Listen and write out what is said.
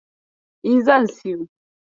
E, zan siyo.